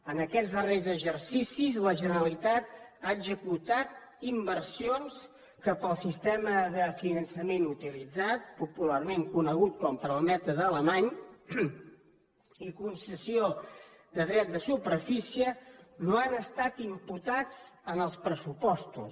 en aquests darrers exercicis la generalitat ha executat inversions que pel sistema de finançament utilitzat popularment conegut com el mètode alemany i concessió de drets de superfície no han estat imputats en els pressupostos